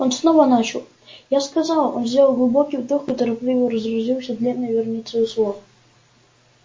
он снова начал я сказал он сделал глубокий вдох и торопливо разразился длинной вереницей слов